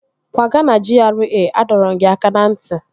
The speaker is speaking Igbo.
Kwaga na GRA! Adọrọ m gị aka na nti